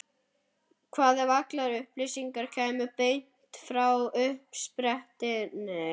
Hvað ef allar upplýsingar kæmu beint frá uppsprettunni?